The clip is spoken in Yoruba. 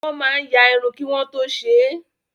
Wọ́n máa ya irun kí wọ́n tó ṣe é.